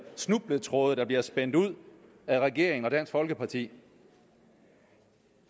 snubletråde der bliver spændt ud af regeringen og dansk folkeparti